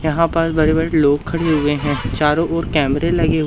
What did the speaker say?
यहां पर बड़े-बड़े लोग खड़े हुएं हैं चारों ओर कैमरे लगे --